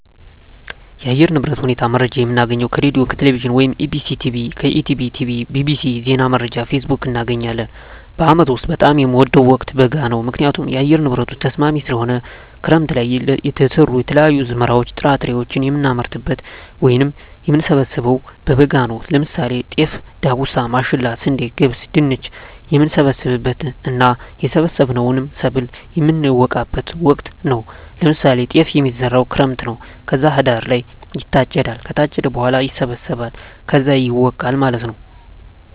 የአየር ንብረት ሁኔታ መረጃ የምናገኘው ከሬድዬ፣ ከቴሌቪዥን ወይም ከEBctv፣ ከETB tv፣ bbc፣ ዜና መረጃ፣ ፌስቡክ፣ እናገኛለን። በአመት ውስጥ በጣም የምወደው ወቅት በጋ ነው ምክንያቱም የአየር ንብረቱ ተስማሚ ስለሆነ፣ ክረምት ለይ የተዘሩ የተለያዩ አዝመራዎች ጥራጥሬዎችን የምናመርትበት ወይም የምንሰብበው በበጋ ነው ለምሳሌ ጤፍ፣ ዳጉሳ፣ ማሽላ፣ ስንዴ፣ ገብስ፣ ድንች፣ የምንሰበስብበት እና የሰበሰብነውን ሰብል የምነወቃበት ወቅት ነው ለምሳሌ ጤፍ የሚዘራው ክረምት ነው ከዛ ህዳር ላይ ይታጨዳል ከታጨደ በኋላ ይሰበሰባል ከዛ ይወቃል ማለት ነው።